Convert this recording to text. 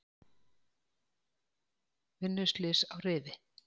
Vinnuslys á Rifi